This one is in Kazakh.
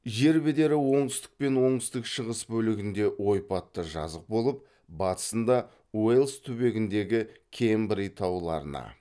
жер бедері оңтүстік пен оңтүстік шығыс бөлігінде ойпатты жазық болып батысында уэльс түбегіндегі кембрий тауларына